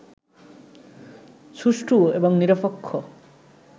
সুষ্ঠু এবং নিরপেক্ষ